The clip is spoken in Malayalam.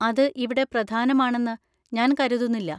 അത് ഇവിടെ പ്രധാനമാണെന്ന് ഞാൻ കരുതുന്നില്ല.